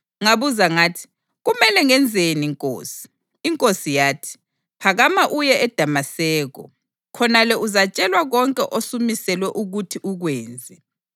Ngabuza ngathi, ‘Kumele ngenzeni Nkosi?’ INkosi yathi, ‘Phakama uye eDamaseko. Khonale uzatshelwa konke osumiselwe ukuthi ukwenze.’